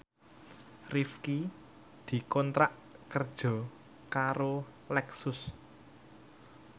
Rifqi dikontrak kerja karo Lexus